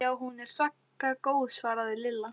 Já, hún er svaka góð svaraði Lilla.